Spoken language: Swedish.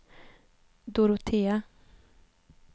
Dorotea